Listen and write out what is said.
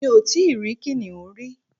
Mi ò tí rí kìnìún rí